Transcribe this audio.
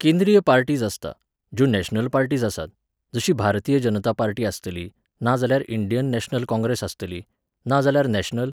केंद्रीय पार्टीज आसता, ज्यो नॅशनल पार्टीज आसात, जशी भारतीय जनता पार्टी आसतली, नाजाल्यार इंडियन नॅशनल काँग्रेस आसतली, नाजाल्यार नॅशनल